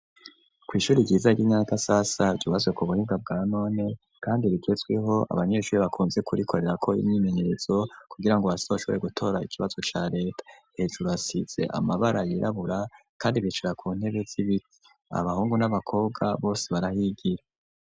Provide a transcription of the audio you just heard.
Kwishuri ryiza ryi Nyakasasa bazo ku buhinwa bwa none kandi bigetsweho abanyeshuri bakunze kurikorera ko imyimenyerezo kugira ngo base bashobore gutora ikibazo ca leta hejuru asitse amabara yirabura kandi bicara ku ntebe z'ibiti abahungu n'abakobwa bose barahigira.